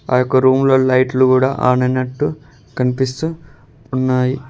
ఆ యొక్క రూమ్ లో లైట్లు కూడా ఆన్ అయినట్టు కనిపిస్తూ ఉన్నాయి.